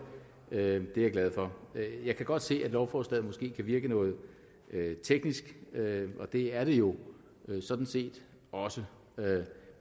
er jeg glad for jeg kan godt se at lovforslaget måske kan virke noget teknisk og det er det jo sådan set også